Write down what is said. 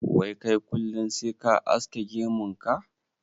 Wai kai kullin sai ka aske gemun ka?